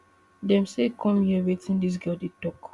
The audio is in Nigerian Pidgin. dem say come hear wetin dis girl dey tok